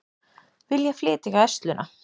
Vilja flytja Gæsluna